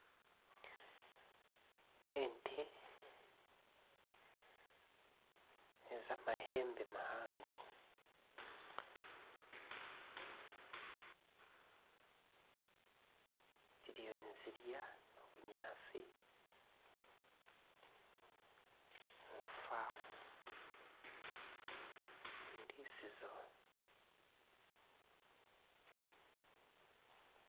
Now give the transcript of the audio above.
Ente nez'amahembe mahango ziriyo nizirya ebinyaatsi omu faamu omu eiritsizo.